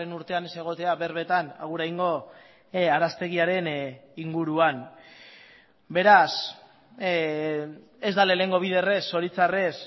urtean ez egotea berbetan aguraingo araztegiaren inguruan beraz ez da lehenengo biderrez zoritxarrez